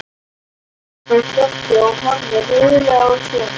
spyr Doddi og horfir reiðilega á Svenna.